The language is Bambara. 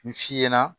Nin f'i ɲɛna